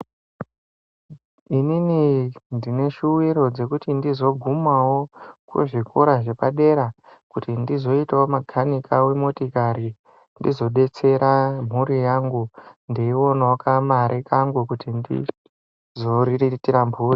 Inini ndine shuwiro dzekuti ndizogumawo kuzvikora zvepadera kuti ndizoitawo makhanika wemotikari ndizodetsera mhuri yangu ndeionawo kamari kangu kuti ndizoriritira mhuri.